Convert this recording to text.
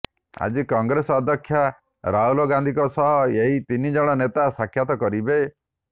ଆଜି କଂଗ୍ରେସ ଅଧ୍ୟକ୍ଷ ରାହୁଲ ଗାନ୍ଧିଙ୍କ ସହ ଏହି ତିନି ଜଣ ନେତା ସାକ୍ଷାତ କରିବେ